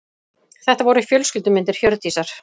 Þetta voru fjölskyldumyndir Hjördísar.